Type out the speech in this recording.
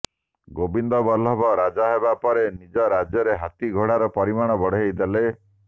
ଗୋବିନ୍ଦ ବଲ୍ଲଭ ରାଜା ହେବା ପରେ ନିଜ ରାଜ୍ୟରେ ହାତୀ ଘୋଡାର ପରିମାଣ ବଢାଇ ଦେଲେ